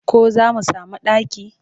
Ko za mu sami ɗaki?